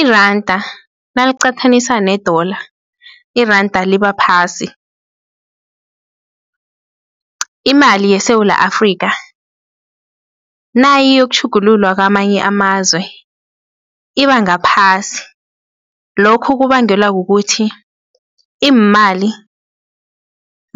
Iranda naliqathaniswa ne-Dollar, iranda libaphasi. Imali yeSewula Afrika nayiyokutjhugululwa kwamanye amazwe, ibangaphasi lokhu kubangelwa kukuthi iimali